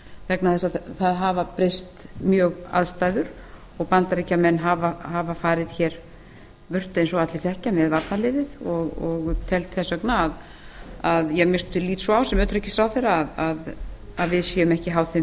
vegna þess að það hafa breyst mjög aðstæður og bandaríkjamenn hafa farið burt eins og allir þekkja með varnarliðið og tel þess vegna eða ég að minnsta kosti lít svo á sem utanríkisráðherra að við séum ekki háð þeim